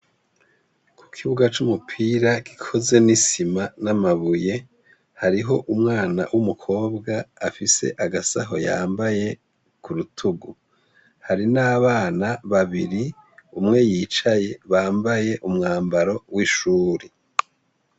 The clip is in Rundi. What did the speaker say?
Ikibuga cumupira gikozwe nisima namabuye hariho umwana wumukobwa afs agasaho yambaye kurutugu hari nabana babiri umwe yicaye bambaye umwambaro wishure